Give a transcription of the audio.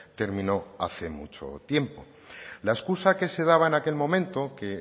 terminó hace mucho tiempo la excusa que se daba en aquel momento que